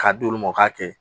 K'a d'olu ma u k'a kɛ